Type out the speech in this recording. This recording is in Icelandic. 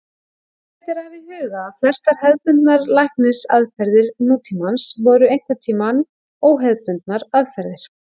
Ágætt er að hafa í huga að flestar hefðbundnar lækningaraðferðir nútímans voru einhverntíma óhefðbundnar aðferðir.